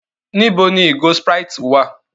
Níbo ni ìgò Sprite wá à?